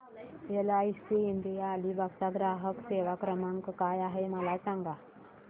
LIC India Alibag चा ग्राहक सेवा क्रमांक काय आहे मला सांगा